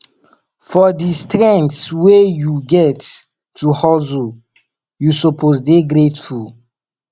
for di strength wey you get to hustle you suppose dey grateful